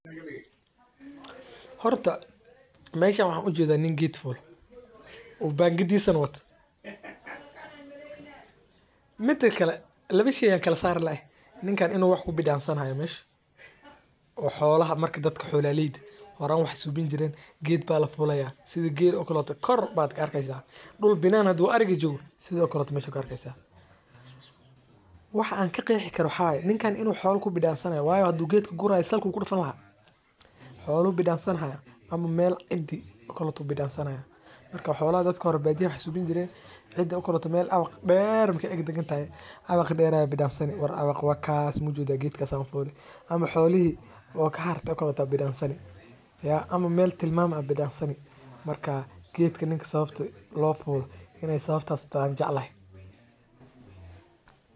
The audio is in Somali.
Horta meeshan waxaan ujeeda nin geed fuule oo bangadiisa wato intaas lee waye sida loo isticmaalo cunooyinka ufican tahay wadnaha iyo kansarka qaarkood masdulaagi waxeey leeyihiin faidoyin fara badan ayeey qabtaa waana nafaqo leh marka howshan muhiim utahay sababta oo lagu tukameysto oo aadka looga yaqaano kenya.